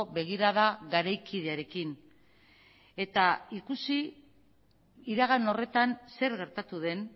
begirada garaikidearekin eta ikusi iragan horretan zer gertatu den